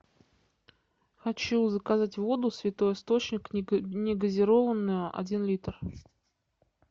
хочу заказать воду святой источник не газированную один литр